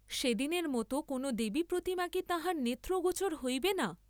সেদিনের মত কোন দেবী প্রতিমা কি তাঁহার নেত্রগোচর হইবে না?